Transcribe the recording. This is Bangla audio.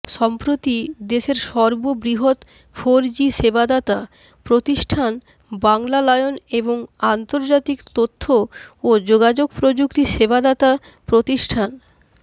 সম্প্রতি দেশের সর্ববৃহৎ ফোরজি সেবাদাতা প্রতিষ্ঠান বাংলালায়ন এবং আন্তর্জাতিক তথ্য ও যোগাযোগ প্রযুক্তি সেবাদাতা প্রতিষ্ঠান